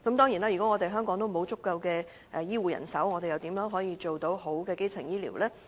如果香港沒有足夠的醫護人手，政府又如何提供優質的基層醫療？